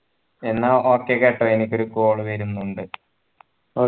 എന്ന okay കേട്ടോ എനിക്കൊരു call വരുന്നുണ്ട്